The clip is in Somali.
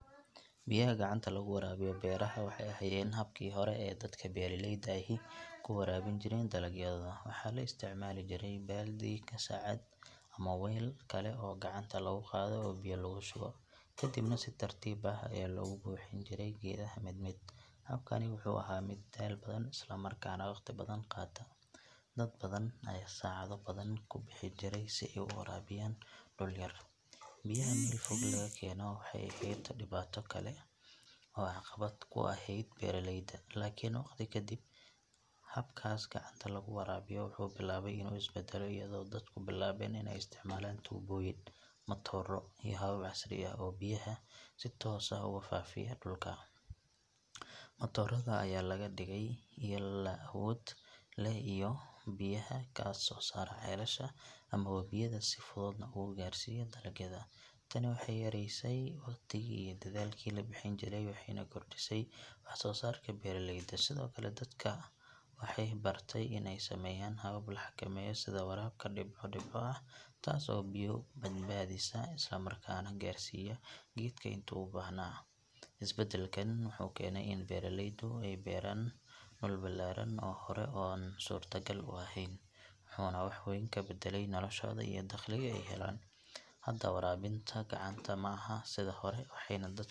Biyaha gacanta lagu waraabiyo beeraha waxay ahaayeen habkii hore ee dadka beeraleyda ahi ku waraabin jireen dalagyadooda. Waxaa la isticmaali jiray baaldi, qasacad ama weel kale oo gacanta lagu qaado oo biyo lagu shubo, ka dibna si tartiib ah ayaa loogu bixin jiray geedaha mid mid. Habkani wuxuu ahaa mid daal badan isla markaana waqti badan qaata. Dad badan ayaa saacado badan ku bixi jiray si ay u waraabiyaan dhul yar. Biyaha meel fog laga keeno waxay ahayd dhibaato kale oo caqabad ku ahayd beeraleyda. Laakiin waqti ka dib habkaas gacanta lagu waraabiyo wuxuu bilaabay inuu is beddelo iyadoo dadku bilaabeen in ay isticmaalaan tuubooyin, matooro iyo habab casri ah oo biyaha si toos ah ugu faafiya dhulka. Matoorada ayaa laga dhigay ilo awood leh oo biyaha ka soo saara ceelasha ama webiyada si fududna ugu gaarsiiya dalagyada. Tani waxay yaraysay waqtigii iyo dadaalkii la bixin jiray, waxayna kordhisay wax soo saarka beeraleyda. Sidoo kale dadka waxay bartay in ay sameeyaan habab la xakameeyo sida waraabka dhibco dhibco ah taas oo biyo badbaadisa isla markaana gaarsiiya geedka intii uu u baahnaa. Isbeddelkan wuxuu keenay in beeraleydu ay beeraan dhul ballaaran oo hore aan suurtagal u ahayn, wuxuuna wax weyn ka beddelay noloshooda iyo dakhliga ay helaan. Hadda waraabinta gacanta ma aha sida hore waxayna dad.